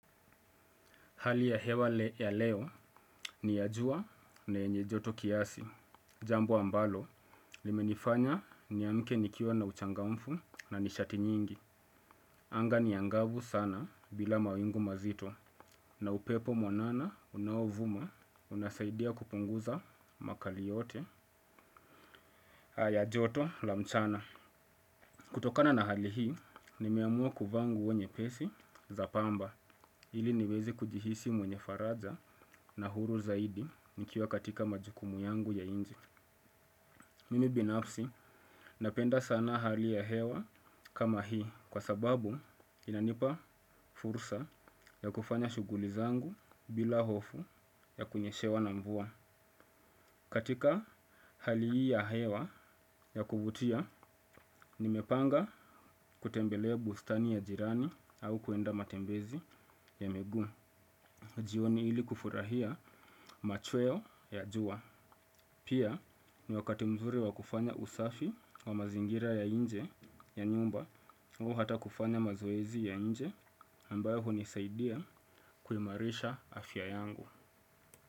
Hali ya hewa ya leo ni ya jua na yenye joto kiasi. Jambo ambalo, limenifanya niamke nikiwa na uchangamfu na nishati nyingi. Anga ni angavu sana bila mawingu mazito. Na upepo mwanana unaovuma unasaidia kupunguza makali yote. Aya joto la mchana. Kutokana na hali hii, nimeamua kuvaa nguo nyepesi za pamba. Ili niwezi kujihisi mwenye faraja na huru zaidi nikiwa katika majukumu yangu ya inji. Mimi binafsi napenda sana hali ya hewa kama hii kwa sababu inanipa fursa ya kufanya shuguli zangu bila hofu ya kunyeshewa na mvua. Katika hali hi ya hewa ya kuvutia, nimepanga kutembelea bustani ya jirani au kuenda matembezi ya miguu. Jioni ili kufurahia machweo ya jua. Pia ni wakati mzuri wa kufanya usafi wa mazingira ya inje ya nyumba, huo hata kufanya mazoezi ya inje ambayo hunisaidia kuimarisha afya yangu.